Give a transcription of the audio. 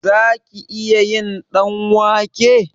Zaki iya yin ɗanwake?